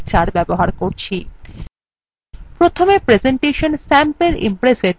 প্রথমে presentation sample impressএ doubleক্লিক করে সেটি খোলা যাক